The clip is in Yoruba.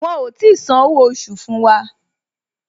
Wọn ò tí san owó oṣù fún wa